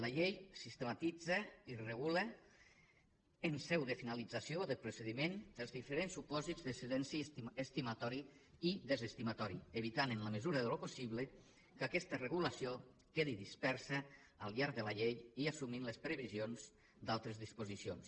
la llei sistematitza i regula en seu de finalització de procediment els diferents supòsits de silenci estimatori i desestimatori evitant en la mesura del possible que aquesta regulació quedi dispersa al llarg de la llei i assumint les previsions d’altres disposicions